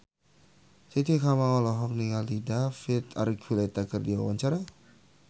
Titi Kamal olohok ningali David Archuletta keur diwawancara